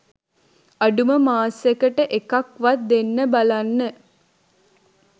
අඩුම මාසෙකට එකක් වත් දෙන්න බලන්න.